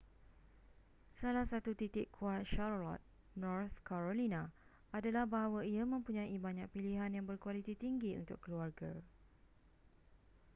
salah satu titik kuat charlotte north carolina adalah bahawa ia mempunyai banyak pilihan yang berkualiti tinggi untuk keluarga